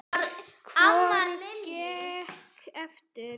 Hvorugt gekk eftir.